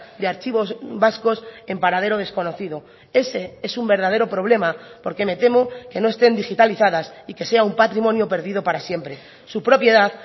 de archivos vascos en paradero desconocido ese es un verdadero problema porque me temo que no estén digitalizadas y que sea un patrimonio perdido para siempre su propiedad